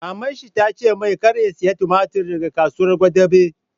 Maman shi ta ce mai 'Kar ka saya tumatir daga Kasuwar Gwadabe'!